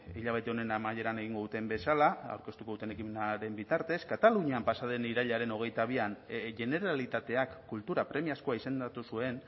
hilabete honen amaieran egingo duten bezala aurkeztuko duten ekimenaren bitartez katalunian pasa den irailaren hogeita bian generalitateak kultura premiazkoa izendatu zuen